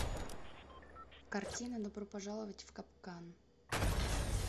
картина добро пожаловать в капкан